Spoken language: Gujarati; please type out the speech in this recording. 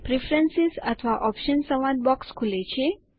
પ્રેફરન્સ અથવા ઓપ્શન્સ સંવાદ બોક્સ ખુલે છે